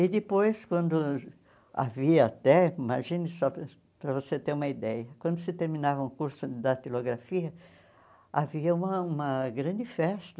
E depois, quando havia até, imagine só para para você ter uma ideia, quando se terminava o curso de datilografia, havia uma uma grande festa.